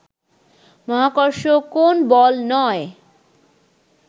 মহাকর্ষ কোন বল নয়